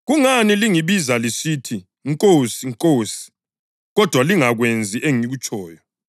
“Kungani lingibiza lisithi, ‘Nkosi, Nkosi,’ kodwa lingakwenzi engikutshoyo?